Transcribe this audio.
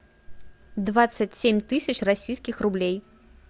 двадцать семь тысяч российских рублей